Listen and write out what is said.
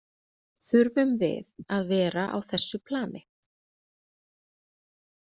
Þurfum við að vera á þessu plani?